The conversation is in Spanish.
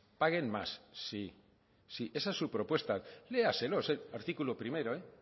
esa es su propuesta léaselo artículo primero